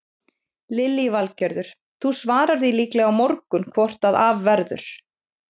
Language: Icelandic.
Lillý Valgerður: Þú svarar því líklega á morgun hvort að af verður?